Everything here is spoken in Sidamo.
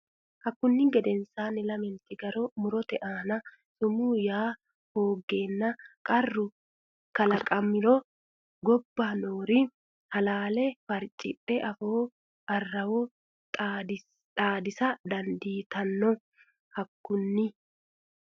Hakkunni gedensaanni lamenti garo murote aana sumuu yaa hooggeenna qarru kalaqamiro gobba noori halaale farcidhe afoo arrawo xaadisa dandiitanno Hakkunni.